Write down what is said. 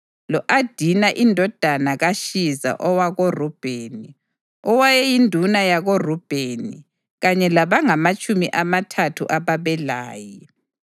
lo-Adina indodana kaShiza owakoRubheni, owayeyinduna yakoRubheni, kanye labangamatshumi amathathu ababelaye,